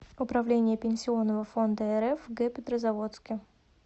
управление пенсионного фонда рф в г петрозаводске